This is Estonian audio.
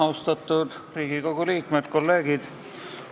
Austatud Riigikogu liikmed, kolleegid!